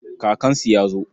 Kakansu ya zo.